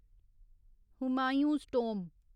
Humayun's tomb